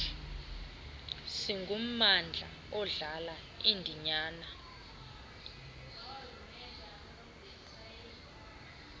singummandla odlala indinyana